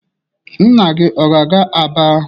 Nna gị ọ ga-aga Aba?